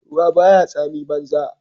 ruwa ba ya tsamin banza